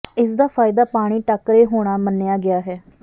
ਇਸ ਦਾ ਫਾਇਦਾ ਪਾਣੀ ਟਾਕਰੇ ਹੋਣਾ ਮੰਨਿਆ ਗਿਆ ਹੈ